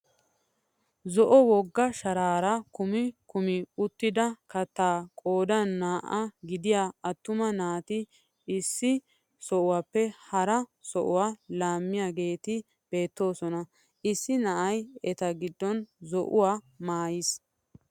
Zo'o wogga sharaara kumi kumi uttida kattaa qoodan naa"aa gidiyaa attuma naati issi sohuwaappe hara sohuwaa laammiyaageti beettoosona. issi na'ay eta giddon zo'uwaa maayiis.